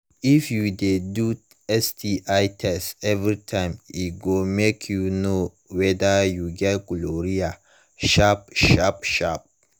if u de do sti test everytime e go mk u knw weda u get gonorrhea sharp sharp sharp